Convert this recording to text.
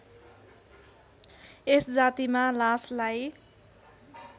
यस जातिमा लासलाई